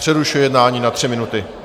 Přerušuji jednání na tři minuty.